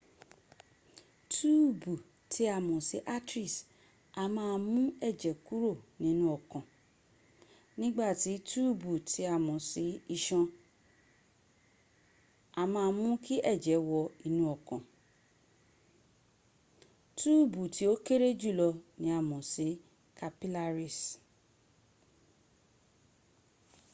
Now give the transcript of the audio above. túùbù tí a mọ̀ sí arteries a máa mú ẹ̀jẹ̀ kúrò nínú ọkàn nígbàtí túùbù tí a mọ̀ sí isan a máa mú kí ẹ̀jẹ̀ wọ inú ọkàn túùbù tí ó kéré jùlọ ni a mọ̀ sí capillaries